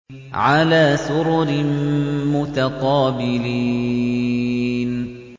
عَلَىٰ سُرُرٍ مُّتَقَابِلِينَ